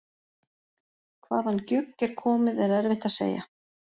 Hvaðan gjugg er komið er erfitt að segja.